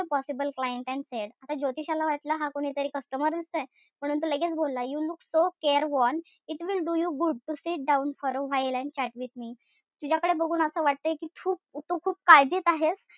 A possible client and said आता ज्योतिषाला वाटलं हा कोणीतरी customer च ए. म्हणून तो लगेच बोलला You look so careworn it will do you good to sit down for a while and chat with me तुझ्याकडे बघून असं वाटतय कि तू खूप तू खूप काळजीत आहेस.